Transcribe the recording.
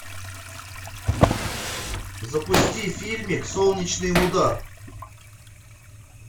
запусти фильмик солнечный удар